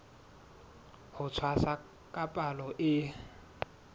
ho tshwasa ka palo e